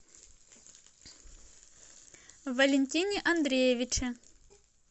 валентине андреевиче